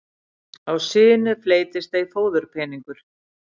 Á sinu fleytist ei fóðurpeningur.